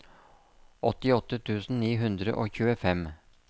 åttiåtte tusen ni hundre og tjuefem